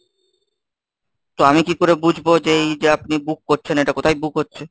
তো আমি কি করে বুঝবো যে এই যে আপনি book করছেন এটা কোথায় book হচ্ছে?